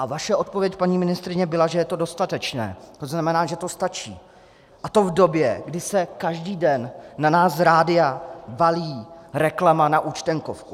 A vaše odpověď, paní ministryně, byla, že je to dostatečné, to znamená, že to stačí, a to v době, kdy se každý den na nás z rádia valí reklama na účtenkovku.